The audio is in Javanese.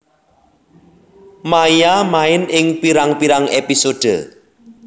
Maia main ing pirang pirang episode